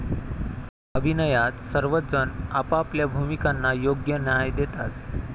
अभिनयात सर्वच जण आपापल्या भूमिकांना योग्य न्याय देतात.